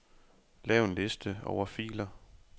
Lav en liste over filer.